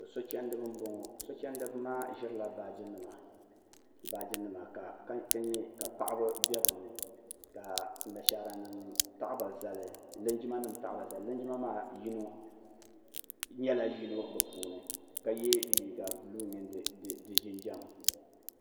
so chɛndiba n boŋo so chɛndiba ma ʒirila baaji nima ka paɣaba bɛ bi ni ka linjima nim taɣaba zali linjima nim maa nyɛla yino bi puuni ka yɛ liiga buluu mini di jinjɛm